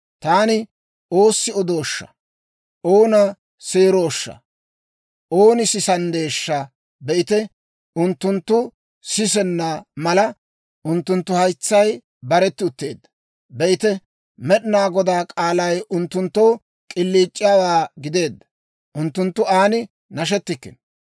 Taani oossi odooshsha? Oona seerooshsha? Ooni sisanddeeshsha? Be'ite, unttunttu sisenna mala, unttunttu haytsay baretti utteedda. Be'ite, Med'inaa Godaa k'aalay unttunttoo k'iliic'iyaawaa gideedda; unttunttu an nashetikkino.